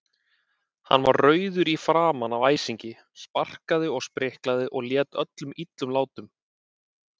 Hann var rauður í framan af æsingi, sparkaði og spriklaði og lét öllum illum látum.